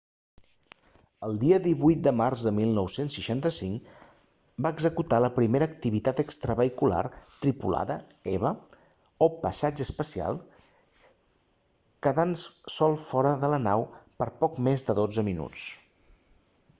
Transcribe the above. el dia 18 de març de 1965 va executar la primera activitat extravehicular tripulada eva o passeig espacial quedant sol fora de la nou per poc més de dotze minuts